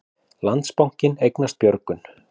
Landsbankinn eignast Björgun